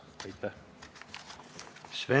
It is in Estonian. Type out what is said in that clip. Aitäh!